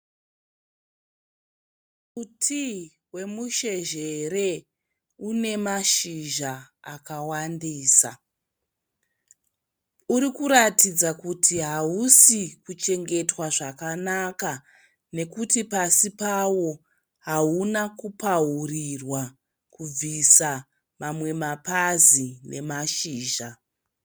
Muti wemusheshere une mazhizha akawandisa. Uri kuratidza kuti hausi kuchengetwa zvakanaka nekuti pasi pawo hauna kupaurirwa, kubvisa mamwe mapazi nemashizha.